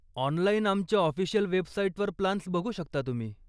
Online आमच्या official वेबसाईटवर plans बघू शकता तुम्ही.